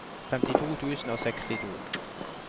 femtito tusen og sekstito